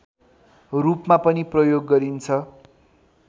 रूपमा पनि प्रयोग गरिन्छ